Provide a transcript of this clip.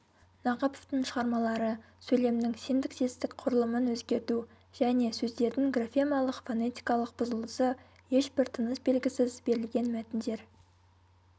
нақыповтың шығармалары сөйлемнің синтаксистік құрылымын өзгерту және сөздердің графемалық фонетикалық бұзылысы ешбір тыныс белгісіз берілген мәтіндер